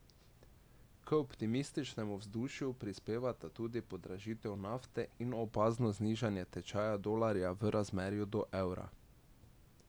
K optimističnemu vzdušju prispevata tudi podražitev nafte in opazno znižanje tečaja dolarja v razmerju do evra.